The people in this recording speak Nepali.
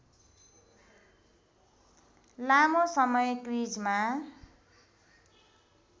लामो समय क्रिजमा